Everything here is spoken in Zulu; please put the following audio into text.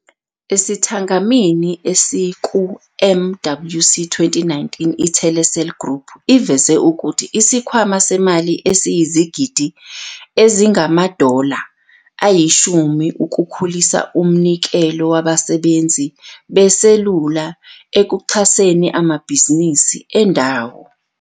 Esithangamini esikuMWC 2019, iTelecel Group iveze ukuthi isikhwama semali esiyizigidi ezingama- dollar ukukhulisa umnikelo wabasebenzi beselula ekuxhaseni amabhizinisi endawo.